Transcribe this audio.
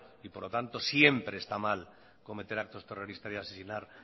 y por lo tanto siempre están mal cometer actos terroristas y asesinar